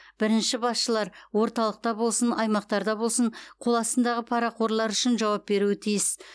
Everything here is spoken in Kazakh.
бірінші басшылар орталықта болсын аймақтарда болсын қоластындағы парақорлар үшін жауап беруі тиіс